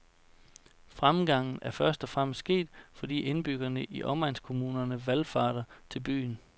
Fremgangen er først og fremmest sket, fordi indbyggerne i omegnskommunerne valfarter til byen.